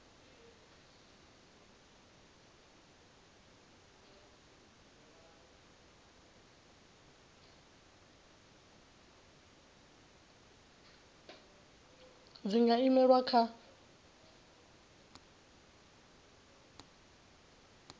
dziwua dzi nga imelelwa kha